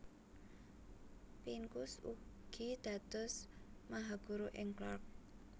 Pincus ugi dados mahaguru ing Clark